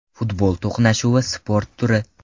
Futbol to‘qnashuvli sport turi.